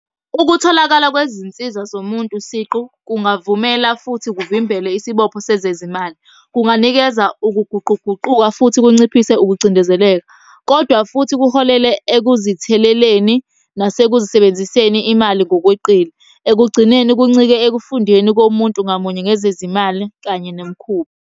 Ukutholakala kwezinsiza zomuntu siqu kungavumela, futhi kuvimbele isibopho sezezimali. Kunganikeza ukuguquguquka futhi kunciphise ukucindezeleka, kodwa futhi kuholele ekuzitheleleni, nasekuzisebenziseni imali ngokweqile. Ekugcineni kuncike ekufundeni komuntu ngamunye ngezezimali kanye nemikhuba.